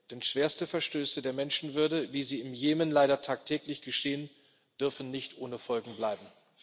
Denn schwerste Verletzungen der Menschenwürde, wie sie im Jemen leider tagtäglich geschehen, dürfen nicht ohne Folgen bleiben.